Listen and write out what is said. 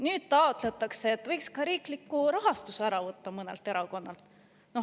Nüüd taotletakse, et võiks mõnelt erakonnalt ka riikliku rahastuse ära võtta.